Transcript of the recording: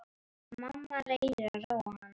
Mamma reynir að róa hann.